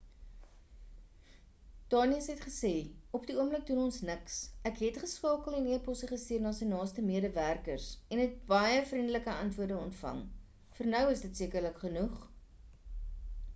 danius het gesê op die oomblik doen ons niks ek het geskakel en eposse gestuur na sy naaste medewerkers en het baie vriendelike antwoorde ontvang vir nou is dit sekerlik genoeg